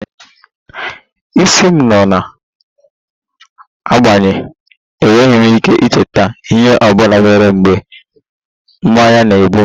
Isi m nọ na-agbanye, enweghị m ike icheta ihe ọ bụla mere mgbe mmanya na-egbu m